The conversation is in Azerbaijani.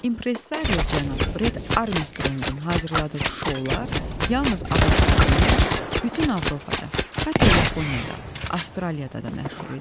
Impressario cənab Bred Armstronqun hazırladığı şoular yalnız ABŞ-da deyil, bütün Avropada, hətta Yaponiyada, Avstraliyada da məşhur idi.